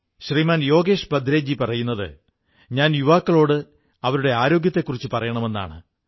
ശ്രീമൻ യോഗേശ് ഭദ്രേശ് ജീ പറയുന്നത് ഞാൻ യുവാക്കളോട് അവരുടെ ആരോഗ്യത്തെക്കുറിച്ചു പറയണമെന്നാണ്